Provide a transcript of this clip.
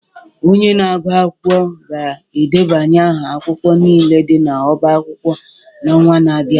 Onye na-agụ akwụkwọ ga-edebanye aha akwụkwọ niile dị n'ọbá akwụkwọ n'ọnwa na-abịa